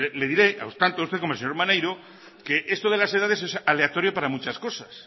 le diré tanto a usted como al señor maneiro que esto de las edades es aleatorio para muchas cosas